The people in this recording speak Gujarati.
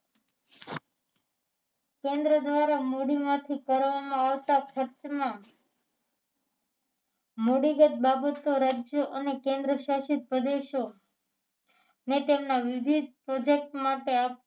કેન્દ્ર દ્વારા મૂડીમાંથી કરવામાં આવતા ખર્ચમાં મુડીગત બાબતો રાજ્યો અને કેન્દ્રશાસિત પ્રદેશો ને તેમના યોજીત project માટે